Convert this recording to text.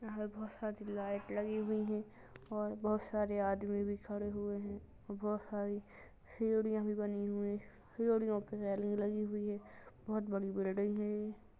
यहाँ बहोत सारी लाइट लगी हुई हैं और बहोत सारे आदमी भी खड़े हुए हैं। बहोत सारी सीढियां भी बनी हुई। सीढियों पे रेलिंग लगी हुई है। बहोत बड़ी बिल्डिंग है ये।